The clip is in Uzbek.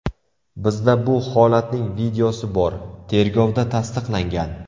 Bizda bu holatning videosi bor, tergovda tasdiqlangan.